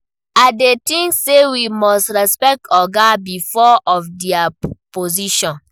I dey think say we must respect ogas because of dia position.